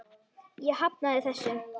Ég hafnaði þessu.